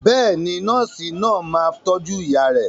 Bẹ́ẹ̀ni, nọ́ọ̀sì náà máa tọ́jú ìyá rẹ.